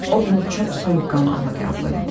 O bunu çox soyuqqanlılıqla qəbul elədi.